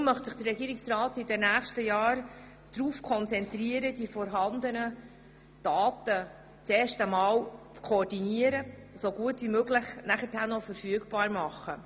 Darum möchte sich der Regierungsrat in den nächsten Jahren darauf konzentrieren, die vorhandenen Daten erst einmal zu koordinieren und danach so gut wie möglich verfügbar zu machen.